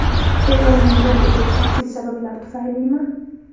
Beylning yo‘qligi shaxsiy sabablar tufaylimi?